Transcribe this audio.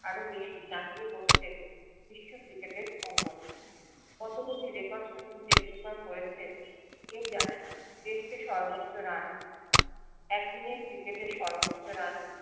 আরো বেশি জাকিয়ে বসচ্ছেন বিশ্ব ক্রিকেটের অঙ্গনে অত গুলি record শচীন টেন্ডুলকার করেছে কেউ জানে না দেশকে সর্বোচ্চ রান এক দিনে ক্রিকেটের সর্বোচ্চ রান